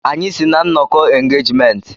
Anyị si na nnọkọ engejmenntị.